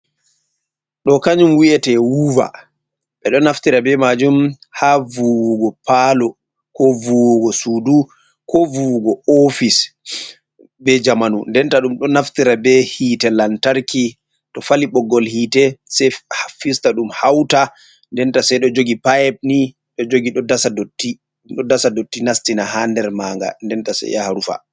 Ɗo kanyum wiyete wuva, ɓe ɗo naftira be majum ha vuwugo palo, ko vuwugo sudu, ko vuwugo ofis je jamanu, denta ɗum ɗo naftira be hitte lantarki to fali ɓoggol hitee sei fista ɗum hauta, denta sei ɗo jogi payeb ni ɗo jogi, ɗo dasa dotti nastina ha nder manga, denta sai yaha rufa.